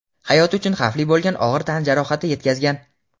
hayot uchun xavfli bo‘lgan og‘ir tan jarohati yetkazgan.